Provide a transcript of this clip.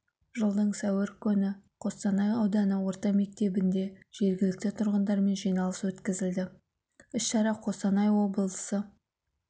жылдың сәуір күні қостанай ауданы орта мектебінде жергілікті тұрғындармен жиналыс өткізілді іс-шара қостанай облысы